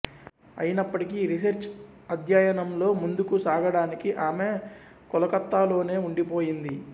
అయినప్పటికీ రీసెర్చి అధ్యయనంలో ముందుకు సాగడానికి ఆమె కొలకత్తాలోనే ఉండిపోయింది